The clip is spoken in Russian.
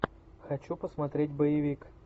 хочу посмотреть боевик